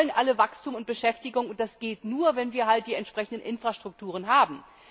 Wir wollen alle Wachstum und Beschäftigung, und das geht nur, wenn wir die entsprechenden Infrastrukturen haben.